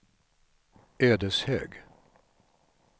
Ödeshög